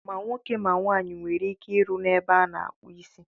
Ma nwoke ma nwaanyị nwere ike ịrụ n'ebe a na-akpụ isi.